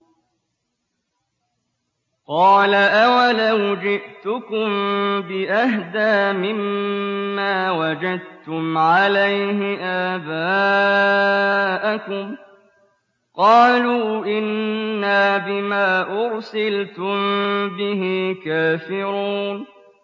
۞ قَالَ أَوَلَوْ جِئْتُكُم بِأَهْدَىٰ مِمَّا وَجَدتُّمْ عَلَيْهِ آبَاءَكُمْ ۖ قَالُوا إِنَّا بِمَا أُرْسِلْتُم بِهِ كَافِرُونَ